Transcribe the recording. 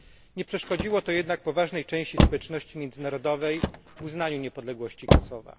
Nie przeszkodziło to jednak poważnej części społeczności międzynarodowej w uznaniu niepodległości Kosowa.